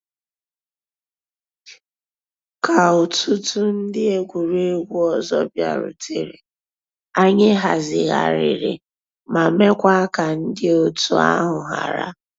Kà òtùtù ńdí egwuregwu ọzọ bịàrùtèrè, ànyị̀ hazighàrìrì ma mekwaa ka ńdí ọ̀tù àhụ̀ hárà.